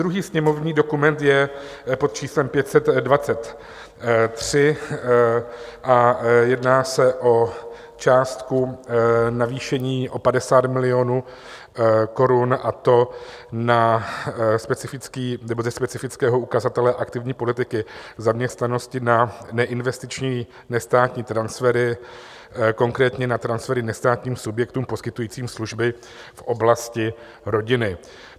Druhý sněmovní dokument je pod číslem 523 a jedná se o částku navýšení o 50 milionů korun, a to ze specifického ukazatele Aktivní politiky zaměstnanosti na neinvestiční nestátní transfery, konkrétně na transfery nestátním subjektům poskytujícím služby v oblasti rodiny.